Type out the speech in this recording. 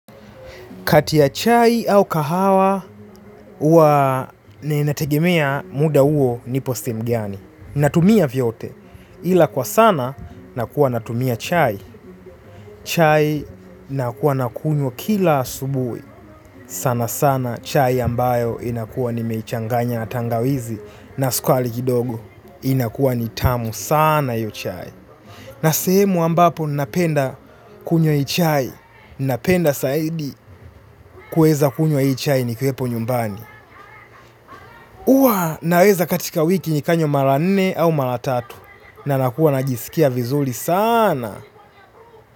Kati ya chai au kahawa, huwa ninategemea muda huo nipo sehemu gani. Natumia vyote. Ila kwa sana, nakuwa natumia chai. Chai nakuwa nakunywa kila asubuhi. Sana sana chai ambayo inakuwa nimeichanganya na tangawizi na sukari kidogo. Inakuwa ni tamu sana hiyo chai. Na sehemu ambapo ninapenda kunywa hii chai. Napenda zaidi kuweza kunywa hii chai nikiwepo nyumbani. Huwa naweza katika wiki nikanywa mara nne au mara tatu. Na nakuwa najisikia vizuri sana.